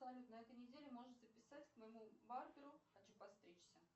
салют на этой неделе можешь записать к моему барберу хочу подстричься